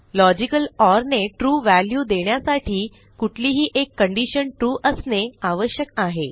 logical OR ने true value देण्यासाठी कुठलीही एक कंडिशन ट्रू असणे आवश्यक आहे